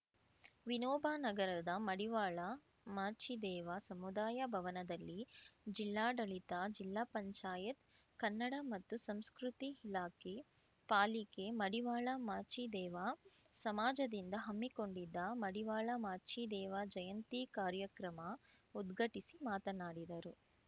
ವಿನೋಬ ನಗರದ ಮಡಿವಾಳ ಮಾಚಿದೇವ ಸಮುದಾಯ ಭವನದಲ್ಲಿ ಜಿಲ್ಲಾಡಳಿತ ಜಿಲ್ಲಾ ಪಂಚಾಯತ್ ಕನ್ನಡ ಮತ್ತು ಸಂಸ್ಕೃತಿ ಇಲಾಖೆ ಪಾಲಿಕೆ ಮಡಿವಾಳ ಮಾಚಿದೇವ ಸಮಾಜದಿಂದ ಹಮ್ಮಿಕೊಂಡಿದ್ದ ಮಡಿವಾಳ ಮಾಚಿದೇವ ಜಯಂತಿ ಕಾರ್ಯಕ್ರಮ ಉದ್ಘಟಿಸಿ ಮಾತನಾಡಿದರು